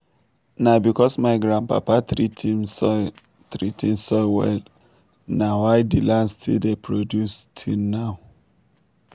na because my grandpapa treat him soil treat him soil well na why the land still dey produce till now.